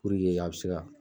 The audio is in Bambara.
a bi se ka